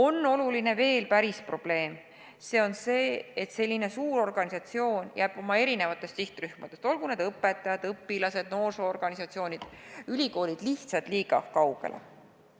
Ja on veel üks probleem: see on see, et selline suur organisatsioon jääb oma sihtrühmadest – olgu need õpetajad, õpilased, noorsoo-organisatsioonid või ülikoolid – lihtsalt liiga kaugele.